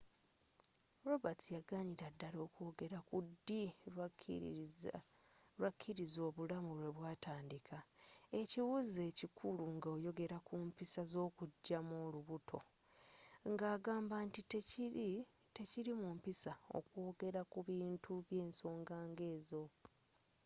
roberts yaganira ddala okwogera ku ddi lwakkiriza obulamu lwe butandika ekibuuzo ekikulu nga oyogera ku mpisa z'okugyamu olubuto nga agamba nti tekiri mu mpisa okwogera ku bintu by'ensonga nga ezo